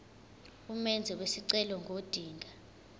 umenzi wesicelo ngodinga